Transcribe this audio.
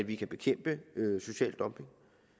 vi kan bekæmpe social dumping